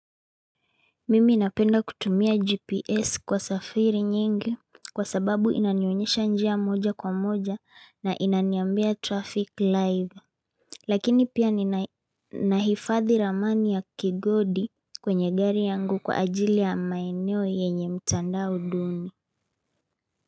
Mimi napenda kutumia GPS kwa safiri nyingi kwa sababu inanyonyesha njia moja kwa moja na inaniambia traffic live. Lakini pia ni nahifadhi ramani ya kigodi kwenye gari yangu kwa ajili ya maeneo yenye mtandao duni.